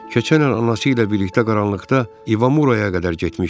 Keçən il anası ilə birlikdə qaranlıqda İvamuraya qədər getmişdi.